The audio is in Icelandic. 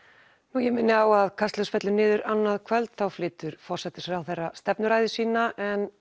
ég minni á að Kastljós fellur niður annað kvöld en þá flytur forsætisráðherra stefnuræðu sína